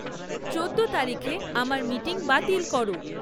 চৌদ্দ তারিখে আমার মিটিং বাতিল করো